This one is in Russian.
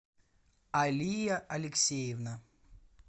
алия алексеевна